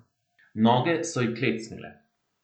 Noge so ji klecnile.